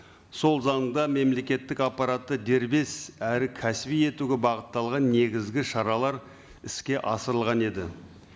сол заңда мемлекеттік аппаратты дербес әрі кәсіби етуге бағытталған негізгі шаралар іске асырылған еді